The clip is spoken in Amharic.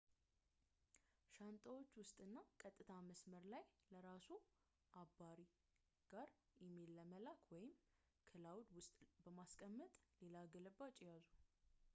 ሻንጣዎ ውስጥ እና ቀጥታ መስመር ላይ ለራስዎ ከአባሪ ጋር ኢሜይል በመላክ፣ ወይም ክላውድ” ውስጥ በማስቀመጥ ሌላ ግልባጭ ይያዙ